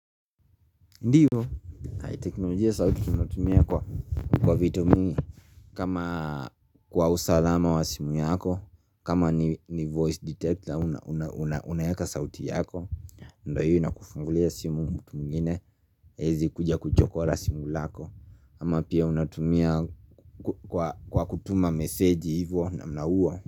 Ndiyo, teknolojia sauti tunatumia kwa vitu mingi kama kwa usalama wa simu yako, kama ni voice detector unaweka sauti yako, ndo yu inakufungulia simu mungu mwingine, hwwezi kuja kuchokora simu lako, ama pia unatumia kwa kutuma meseji hivyo na mnauwa.